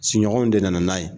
Siɲɔgɔnw de nana n'a ye.